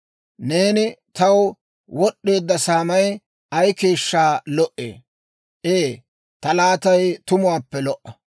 Neeni taw wad'd'eedda saamay ay keeshshaa lo"ee! Ee ta laatay tumuwaappe lo"a!